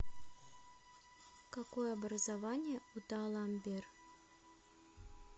какое образование у даламбер